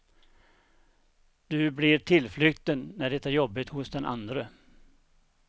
Du blir tillflykten när det är jobbigt hos den andre.